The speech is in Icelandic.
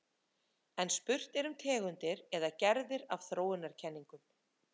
En spurt er um tegundir eða gerðir af þróunarkenningum.